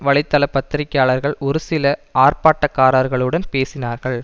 வலைத்தள பத்திரிக்கையாளர்கள் ஒரு சில ஆர்ப்பாட்டக்காரர்களுடன் பேசினார்கள்